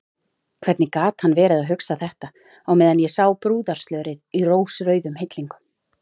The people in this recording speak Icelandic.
Hvernig gat hann verið að hugsa þetta á meðan ég sá brúðarslörið í rósrauðum hillingum!